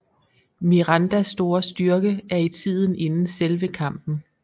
Mirandas store styrke er i tiden inden selve kampen